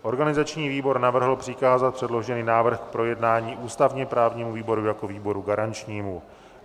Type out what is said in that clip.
Organizační výbor navrhl přikázat předložený návrh k projednání ústavně-právnímu výboru jako výboru garančnímu.